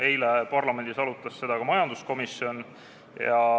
Eile arutas seda ka majanduskomisjon.